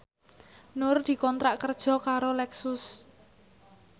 Nur dikontrak kerja karo Lexus